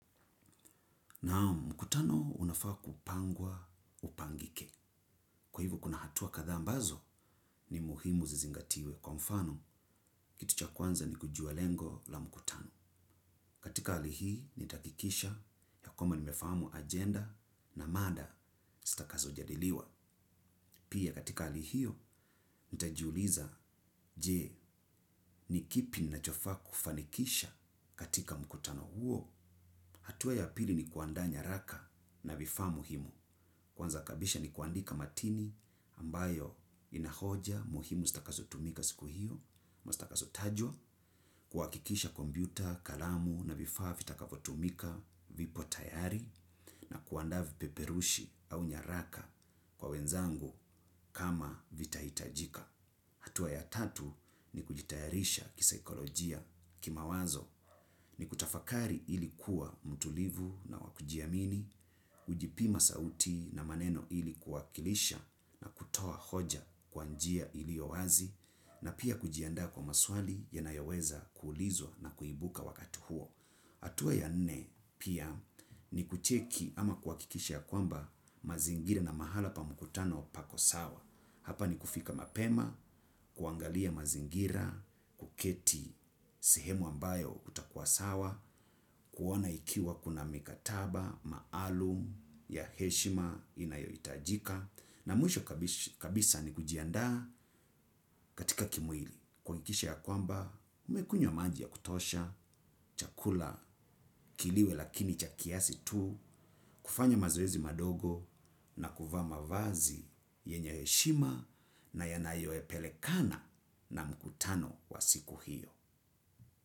Naam mkutano unafaa kupangwa upangike. Kwa hivo kuna hatua kadhaa ambazo ni muhimu zizingatiwe kwa mfano kitu cha kwanza ni kujua lengo la mkutano. Katika hali hii nita hakikisha ya kwamba nimefahamu agenda na mada zitakazo jadiliwa. Pia katika hali hiyo nitajiuliza jee ni kipi ninachofaa kufanikisha katika mkutano huo. Hatua ya pili ni kuandaa nyaraka na vifaa muhimu. Kwanza kabisa ni kuandika matini ambayo ina hoja muhimu zitakazotumika siku hiyo mastakasotajwa, kuhakikisha kompyuta kalamu na vifaa vitakavyotumika vipo tayari na kuandaa vipeperushi au nyaraka kwa wenzangu kama vitahitajika. Hatua ya tatu ni kujitayarisha kisaikolojia ki mawazo ni kutafakari ili kuwa mtulivu na wa kujiamini ujipima sauti na maneno ili kuwakilisha na kutoa hoja kwa njia iliyo wazi na pia kujiandaa kwa maswali yanayoweza kuulizwa na kuibuka wakati huo. Hatua ya nne pia ni kucheki ama kuhakikisha ya kwamba mazingira na mahala pa mkutano pako sawa. Hapa ni kufika mapema kuangalia mazingira kuketi sehemu ambayo utakua sawa kuona ikiwa kuna mikataba maalum ya heshima inayo hitajika. Na mwisho kabisa ni kujiandaa katika kimwili. Kuhakikisha ya kwamba umekunywa maji ya kutosha chakula kiliwe lakini cha kiasi tu kufanya mazoezi madogo na kuvaa mavazi yenye heshima na yanayo pelekana na mkutano wa siku hiyo.